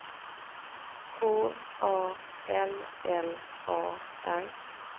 K A L L A R